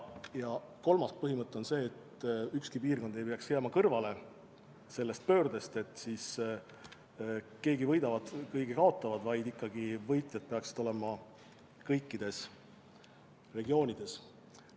Kolmas põhimõte on see, et ükski piirkond ei tohi jääda kõrvale sellest pöördest, et ei ole nii, et keegi võidab ja keegi kaotab, vaid võitjad peaksid olema kõikides regioonides.